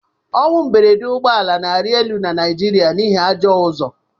Ọnwụ mberede ụgbọ ala na-arị elu na Naịjirịa n'ihi ajọ ụzọ